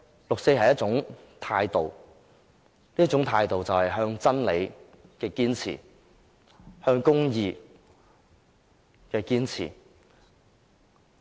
六四是一種態度，是對真理和公義的堅持。